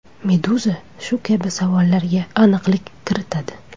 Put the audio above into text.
Meduza shu kabi savollarga aniqlik kiritadi .